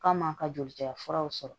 K'a m'a ka joli caya furaw sɔrɔ